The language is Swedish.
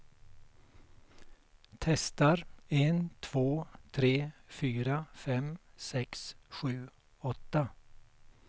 Testar en två tre fyra fem sex sju åtta.